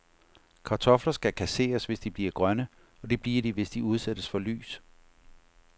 Kartofler skal kasseres, hvis de bliver grønne, og det bliver de, hvis de udsættes for lys.